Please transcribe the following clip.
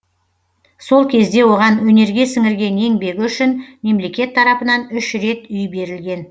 сол кезде оған өнерге сіңірген еңбегі үшін мемлекет тарапынан үш рет үй берілген